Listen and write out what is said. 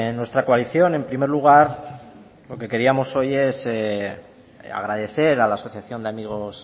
nuestra coalición en primer lugar lo que queríamos hoy es agradecer a la asociación de amigos